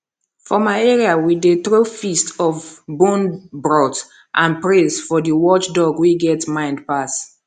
for my area we dey throw feast of bone broth and praise for the watchdog wey get mind pass